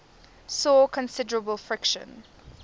saw considerable friction